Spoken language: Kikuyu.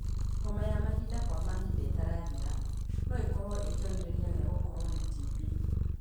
Homa ya mahinda kwa mahinda ĩtarathira no ĩkorwo ĩ kionereria gia gũkorwo na TB.